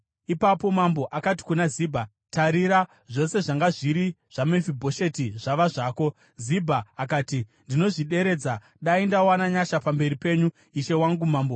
Ipapo mambo akati kuna Zibha, “Tarira, zvose zvanga zviri zvaMefibhosheti zvava zvako.” Zibha akati, “Ndinozvideredza. Dai ndawana nyasha pamberi penyu, ishe wangu mambo.”